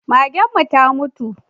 Magen mu ta mutu